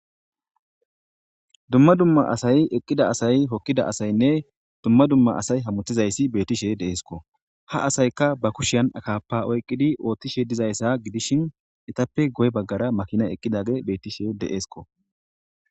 Dumma dumma asay hokida asattiynne dumma dumma asay hemetishe dizaysssi bettishe de'esikko ha asykka ba kushan akappa oykidi ootishe dizayssa gidishin ettappe guye baggara maakinay bettishe de'esikko